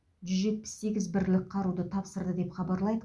жүз жетпіс сегіз бірлік қаруды тапсырды деп хабарлайды